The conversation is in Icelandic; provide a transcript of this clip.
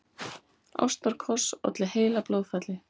Ástarkoss olli heilablóðfalli